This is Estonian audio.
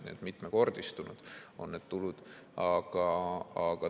Nii et mitmekordistunud on need tulud.